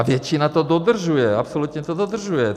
A většina to dodržuje, absolutně to dodržuje.